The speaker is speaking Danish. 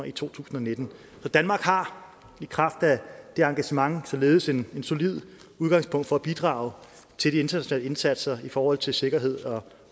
i to tusind og nitten så danmark har i kraft af det engagement således et solidt udgangspunkt for at bidrage til de internationale indsatser i forhold til sikkerhed og